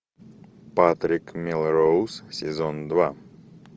патрик мелроуз сезон два